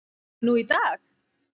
nú í dag.